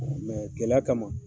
gɛlɛya kama.